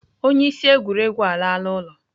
Onye isi egwuregwu alala ụlọ.